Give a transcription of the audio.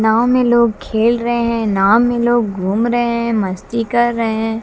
नाव में लोग खेल रहे हैं नाव में लोग घूम रहे हैं मस्ती कर रहे हैं।